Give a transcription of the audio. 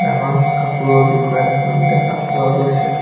ডাঙৰ কাপোৰৰ দোকান এখন দেখা পোৱা গৈছে।